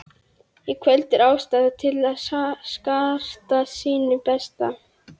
Í kvöld er ástæða til að skarta sínu besta.